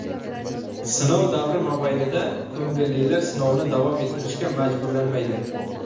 Sinov davri mobaynida ko‘ngillilar sinovni davom ettirishga majburlanmaydi.